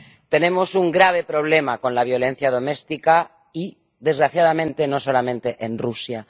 Tenemos un grave problema con la violencia doméstica y, desgraciadamente, no solamente en Rusia.